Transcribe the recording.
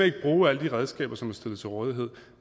ikke bruge alle de redskaber som er stillet til rådighed